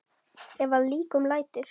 Ef að líkum lætur.